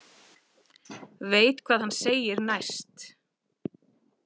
Veit hvað hann segir næst.